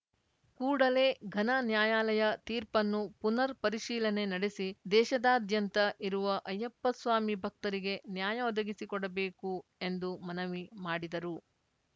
ಕೂಡಲೇ ಘನ ನ್ಯಾಯಾಲಯ ತೀರ್ಪನ್ನು ಪುನರ್‌ ಪರಿಶೀಲನೆ ನಡೆಸಿ ದೇಶದಾದ್ಯಂತ ಇರುವ ಅಯ್ಯಪ್ಪಸ್ವಾಮಿ ಭಕ್ತರಿಗೆ ನ್ಯಾಯ ಒದಗಿಸಿಕೊಡಬೇಕು ಎಂದು ಮನವಿ ಮಾಡಿದರು